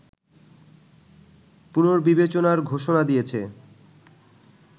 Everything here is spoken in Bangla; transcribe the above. পুনর্বিবেচনার ঘোষণা দিয়েছে